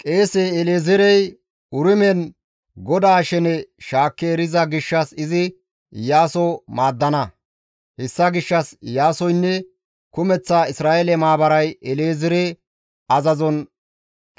Qeese El7ezeerey Urimen GODAA shene shaakki eriza gishshas izi Iyaaso maaddana; hessa gishshas Iyaasoynne kumeththa Isra7eele maabaray El7ezeere azazon